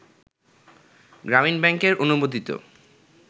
গ্রামীণ ব্যাংকের অনুমোদিত